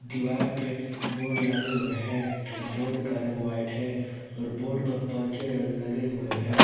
दीवार पे बोर्ड लगे हुए हैं बोर्ड का रंग व्हाइट है और बोर्ड पर पंखे लगे हुए हैं।